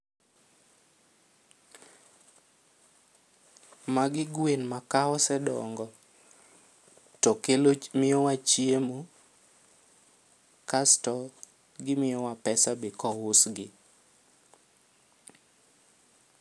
Magi gwen ma ka osedongo to kelo miyowa chiemo kasto gimiyo wa pesa be kousgi.